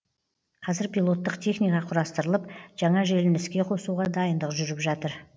қазір пилоттық техника құрастырылып жаңа желіні іске қосуға дайындық жүріп жатыр